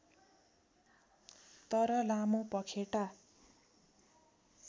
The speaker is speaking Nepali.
तर लामो पँखेटा